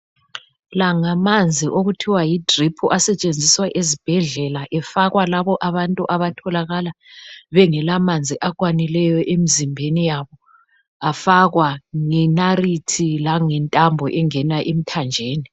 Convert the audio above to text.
La ngamanzi okuthiwa yidrip asetshenziswa ezibhedlela efakwa labantu abatholakala bengelamanzi akwanileyo emzimbeni yabo afakwa ngenalithi langentambo engena emthanjeni.